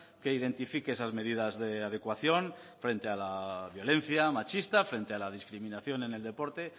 que identifique esas medidas de adecuación frente a la violencia machista frente a la discriminación en el deporte